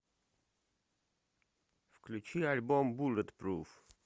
включи альбом буллетпруф